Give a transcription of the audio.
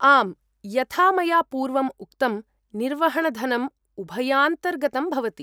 आम्, यथा मया पूर्वम् उक्तम्, निर्वहणधनम् उभयान्तर्गतम् भवति।